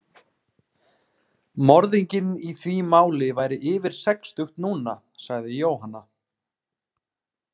Morðinginn í því máli væri yfir sextugt núna, sagði Jóhanna.